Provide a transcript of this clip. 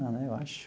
Não, eu acho.